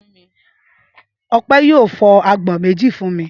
Ọpẹ́ yóò fọ́ àgbọn méjì fún mi.